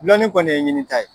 Lɔnni kɔni ye ɲinita ye.